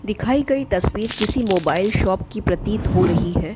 दिखाई गई तस्वीर किसी मोबाइल शॉप की प्रतीत हो रही है।